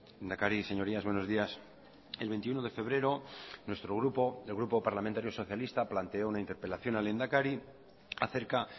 lehendakari señorías buenos días el veintiuno de febrero nuestro grupo el grupo parlamentario socialista planteó una interpelación al lehendakari a cerca